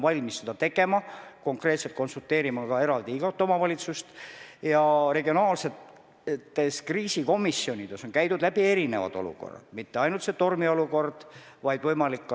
Tänase seisuga Eestis pandeemiast rääkida ei saa, loodan väga ja kõik inimesed loodavad, et see nii ka jääb, ja selle nimel tehakse riigis ja mujal maailmas kõikvõimalik.